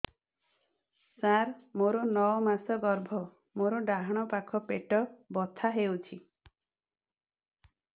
ସାର ମୋର ନଅ ମାସ ଗର୍ଭ ମୋର ଡାହାଣ ପାଖ ପେଟ ବଥା ହେଉଛି